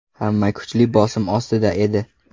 Hamma kuchli bosim ostida edi.